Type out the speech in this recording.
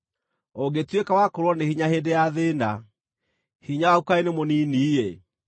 Ũngĩtuĩka wa kũũrwo nĩ hinya hĩndĩ ya thĩĩna, hinya waku kaĩ nĩ mũnini-ĩ!